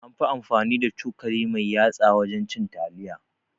An fi amfani da cokali mai yatsa wajen cin taliya